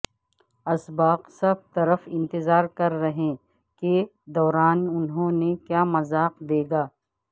اسباق سب صرف انتظار کر رہے کے دوران انہوں نے کیا مذاق دے گا